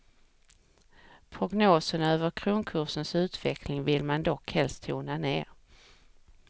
Prognosen över kronkursens utveckling vill man dock helst tona ner.